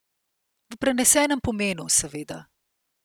V prenesenem pomenu, seveda.